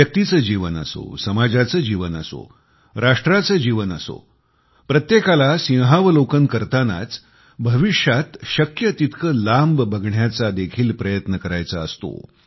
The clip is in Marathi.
व्यक्तीचे जीवन असो समाजाचे जीवन असो राष्ट्राचे जीवन असो प्रत्येकाला सिंहावलोकन करतानाच भविष्यात शक्य तितकं दूरवर बघण्याचा प्रयत्न देखील करायचा असतो